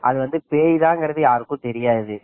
: அது பேய் தான் வருது யாருக்கும் தெரியாது